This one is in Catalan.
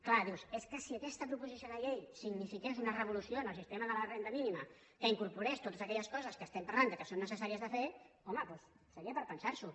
clar dius és que si aquesta proposició de llei signifiqués una revolució en el sistema de la renda mínima que incorporés totes aquelles coses que estem parlant que són necessàries de fer home doncs seria per pensar s’ho